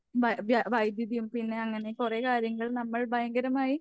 വ വ്യ വൈദ്യുതിയും പിന്നെ അങ്ങനെ കുറെ കാര്യങ്ങൾ നമ്മൾ ഭയങ്കരമായി